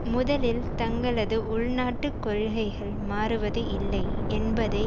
முதலில் தங்களது உள்நாட்டு கொள்கைகள் மாறுவது இல்லை என்பதை